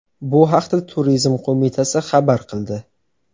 Bu haqda Turizm qo‘mitasi xabar qildi .